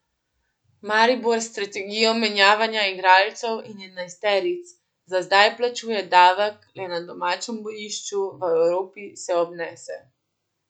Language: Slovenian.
Maribor s strategijo menjavanja igralcev in enajsteric za zdaj plačuje davek le na domačem bojišču, v Evropi se obnese.